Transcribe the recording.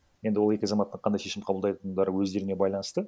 енді ол екі азаматқа қандай шешім қабылдайтындары өздеріне байланысты